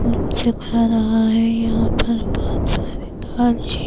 یہاں پر بہت ساری تاج